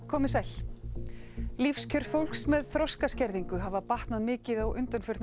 komiði sæl lífskjör fólks með þroskaskerðingu hafa batnað mikið undanfarna